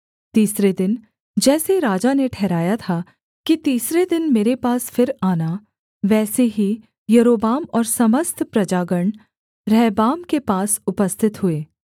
तीसरे दिन जैसे राजा ने ठहराया था कि तीसरे दिन मेरे पास फिर आना वैसे ही यारोबाम और समस्त प्रजागण रहबाम के पास उपस्थित हुए